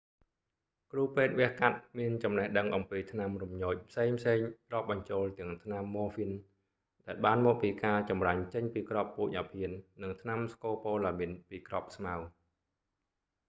គ្រូពេទ្យវះកាត់មានចំណេះដឹងអំពីថ្នាំរំញោចផ្សេងៗរាប់បញ្ចូលទាំងថ្នាំ morphine ដែលបានមកពីការចម្រាញ់ចេញពីគ្រាប់ពូជអាភៀន និងថ្នាំ scopolamine ពីគ្រាប់ស្មៅ